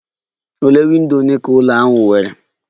Ole windo ole ka ụlọ ahụ nwere?